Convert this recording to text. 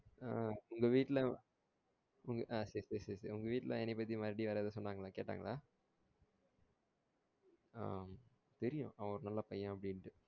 ஆஹ் உங்க வீட்ல ஆஹ் சேரி சேரி சேரி உங்க வீட்ல என்னைய பத்தி மறுபடியும் யாரது எதும் சொன்னங்லா கேட்டாங்களா ஆஹ் தெரியும் அவன் ஒரு நல்ல பையன் அப்டிண்டு